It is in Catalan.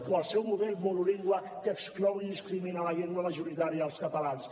o el seu model monolingüe que exclou i discrimina la llengua majoritària dels catalans